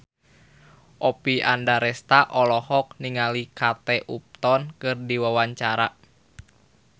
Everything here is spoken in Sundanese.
Oppie Andaresta olohok ningali Kate Upton keur diwawancara